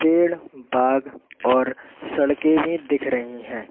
पेड़ बाग और सड़कें भी दिख रही हैं।